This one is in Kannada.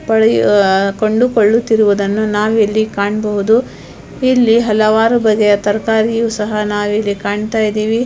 ಪಾಳಿ ಕೊಡುಕೊಳ್ಳುತ್ತಿರುವುದನ್ನು ನಾವಿಲ್ಲಿ ಕಾಣಬಹುದು ಇಲ್ಲಿ ಹಲವಾರು ಬಗೆಯ ತರಕಾರಿ ಸಹ ನಾವಿಲ್ಲಿ ಕಾಣ್ತಾಇದಿವಿ --